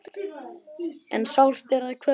En sárt er að kveðja.